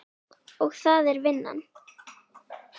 Og það er vinnan.